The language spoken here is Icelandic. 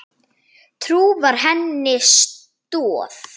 Trú var henni stoð.